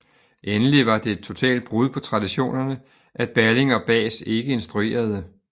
Endelig var det et totalt brud på traditionerne at Balling og Bahs ikke instruerede